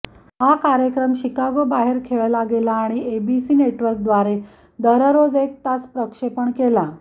हा कार्यक्रम शिकागोबाहेर खेळला गेला आणि एबीसी नेटवर्कद्वारे दररोज एक तास प्रक्षेपण केला